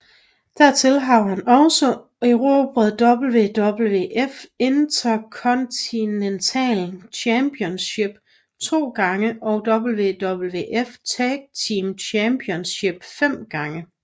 Dertil har han også erobret WWF Intercontinental Championship to gange og WWF Tag Team Championship fem gange